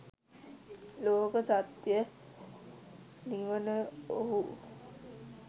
ලෝක සත්‍යය නිවන ඔහු